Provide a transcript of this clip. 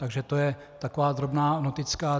Takže to je taková drobná noticka.